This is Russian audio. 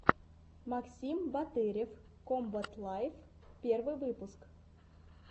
максим батырев комбат лайв первый выпуск